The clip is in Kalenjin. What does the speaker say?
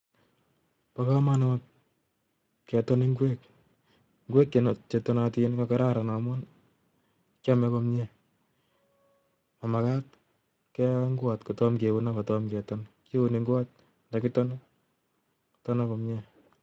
Bo komonut keton ngwek. Ngwek che tonatin ko kararan amun, kiame komyee. Momakat keo ngwot kotomo keun akotom keton. Kiuni ngwot, ndakiton, kotonak komyee